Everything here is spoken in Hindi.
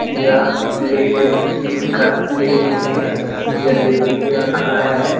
यह प्लेट में स्टील का प्लेट में जलेबी रखा है।